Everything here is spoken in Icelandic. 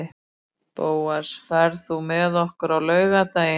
Bóas, ferð þú með okkur á laugardaginn?